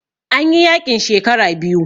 An yi yaƙin shekara biyu